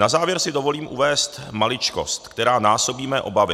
Na závěr si dovolím uvést maličkost, která násobí mé obavy.